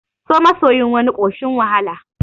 So masoyin wani ƙoshin wahala